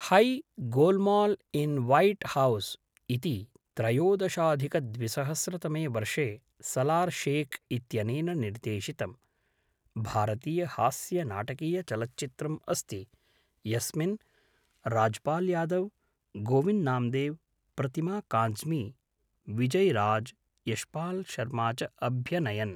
High Golmaal in White House इति त्रयोदशाधिकद्विसहस्रतमे वर्षे सलार् शेख् इत्यनेन निर्देशितं, भारतीयहास्यनाटकीयचलच्चित्रम् अस्ति, यस्मिन् राज्पाल् यादव्, गोविन्द् नाम्देव्, प्रतिमा काज़्मी, विजय् राज़्, यश्पाल् शर्मा च अभ्यनयन्।